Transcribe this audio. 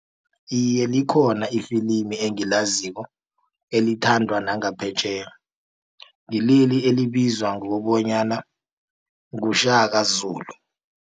Iye, likhona ifilimi engilaziko elithandwa nangaphetjheya ngileli elibizwa ngokobanyana nguShaka Zulu.